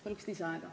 Palun lisaaega!